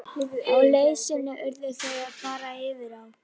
Á leið sinni urðu þau að fara yfir á.